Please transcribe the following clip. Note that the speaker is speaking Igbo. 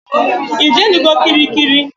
Ijenugo kirikiri?